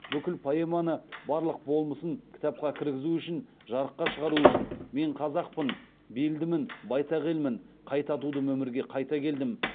бүкіл поэманы барлық болмысын кітапқа кіргізу үшін жарыққа шығару үшін мен қазақпын белдімін байтақ елмін қайта тудым өмірге қайта келдім